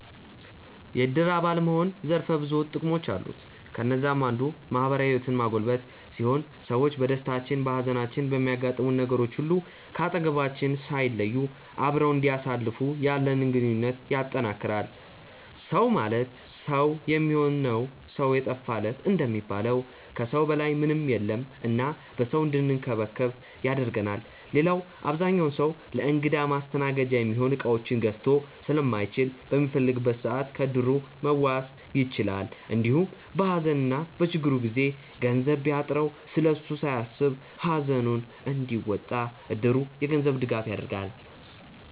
የዕድር አባል መሆን ዘርፈ ብዙ ጥቅሞች አሉት። ከነዛም አንዱ ማህበራዊ ህይወትን ማጎልበት ሲሆን ሰዎች በደስታችን፣ በሃዘናችን፣ በሚያጋጥሙን ነገሮች ሁሉ ከአጠገባችን ሳይለዩ አብረውን እንዲያሳልፉ ያለንን ግንኙነት ያጠነክራል። “ሰው ማለት ሰው የሚሆን ነው ሰው የጠፋ ለት” እንደሚባለው ከሰው በላይ ምንም የለም እና በሰው እንድንከበብ ያደርገናል። ሌላው አብዛኛው ሰው ለእንግዳ ማስተናገጃ የሚሆኑ እቃዎችን ገዝቶ ስለማይችል በሚፈልግበት ሰዓት ከዕድሩ መዋስ ይችላል። እንዲሁም በሃዘንና በችግሩ ጊዜ ገንዘብ ቢያጥረው ስለሱ ሳያስብ ሃዘኑን እንዲወጣ እድሩ የገንዘብ ድጋፍ ያደርጋል።